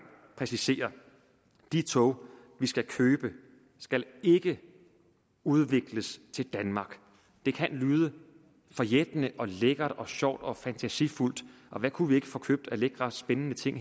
præcisere de tog vi skal købe skal ikke udvikles til danmark det kan lyde forjættende og lækkert og sjovt og fantasifuldt og hvad kunne vi ikke få købt af lækre spændende ting